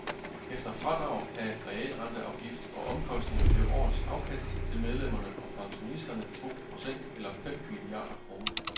Efter fradrag af realrenteafgift og omkostninger blev årets afkast til medlemmerne og pensionisterne to procent eller fem milliarder kroner.